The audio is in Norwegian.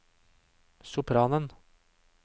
sopranen